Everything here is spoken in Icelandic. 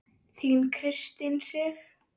Þín Kristín Sig.